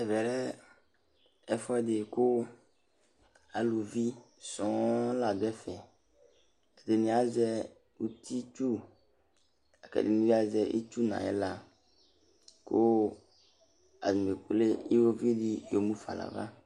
Ɛvɛ lɛ ɛfuɛdi ku aluvisɔ̃ ladu ɛfɛ, ɛdini azɛ utitsu, la k'ɛdini bi azɛ itsu n'ayila ku atani ekple iwoviu di yɔmufa n'ava